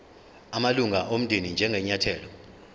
amalunga omndeni njengenyathelo